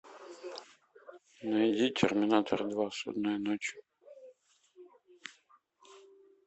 найди терминатор два судная ночь